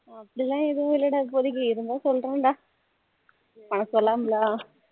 அப்படில்லாம் ஏதும் இல்லை டா இப்போதைக்கு இருந்தா சொல்லுறேன் டா உனக்கு சொல்லாமளா